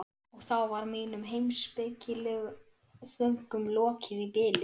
Og þá var mínum heimspekilegu þönkum lokið í bili.